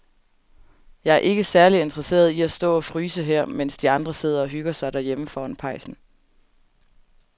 Jeg er ikke særlig interesseret i at stå og fryse her, mens de andre sidder og hygger sig derhjemme foran pejsen.